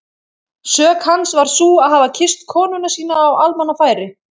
Sök hans var sú að hafa kysst konuna sína á almannafæri!